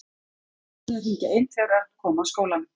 Það var búið að hringja inn þegar Örn kom að skólanum.